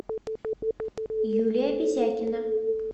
юлия безякина